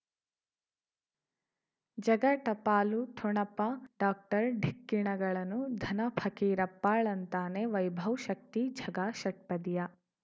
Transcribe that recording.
ಜಗ ಟಪಾಲು ಠೊಣಪ ಡಾಕ್ಟರ್ ಢಿಕ್ಕಿ ಣಗಳನು ಧನ ಫಕೀರಪ್ಪ ಳಂತಾನೆ ವೈಭವ್ ಶಕ್ತಿ ಝಗಾ ಷಟ್ಪದಿಯ